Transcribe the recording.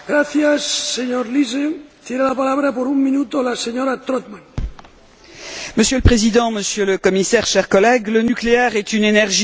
Monsieur le Président, Monsieur le Commissaire, chers collègues, le nucléaire est une énergie non carbonée, mais aussi une énergie transitoire reposant sur des ressources épuisables.